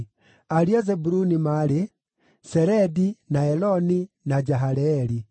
Ariũ a Zebuluni maarĩ: Seredi, na Eloni, na Jahaleeli.